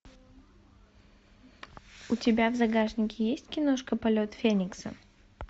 у тебя в загашнике есть киношка полет феникса